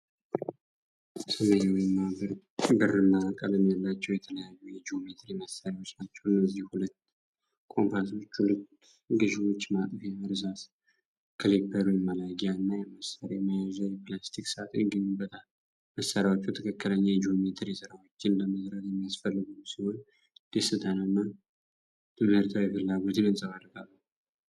ሰማያዊና ብርማ ቀለም ያላቸው የተለያዩ የጂኦሜትሪ መሳርያዎች ናቸው። እነዚህም ሁለት ኮምፓሶች፣ ሁለት ገዥዎች፣ ማጥፊያ፣ እርሳስ፣ ክሊፐር (መላጊያ) እና የመሳርያ መያዣ የፕላስቲክ ሳጥን ይገኙበታል። መሳርያዎቹ ትክክለኛ የጂኦሜትሪ ስራዎችን ለመስራት የሚያስፈልጉ ሲሆን፣ ደስታንና ትምህርታዊ ፍላጎትን ያንጸባርቃሉ።